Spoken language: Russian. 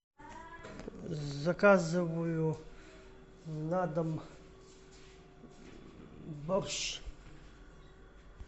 заказываю на дом борщ